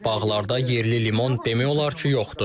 Bağlarda yerli limon demək olar ki, yoxdur.